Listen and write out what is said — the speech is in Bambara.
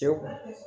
Tewu